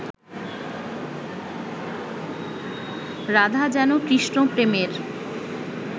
রাধা যেন কৃষ্ণ-প্রেমের